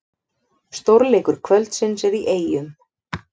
Stórleikur kvöldsins er í Eyjum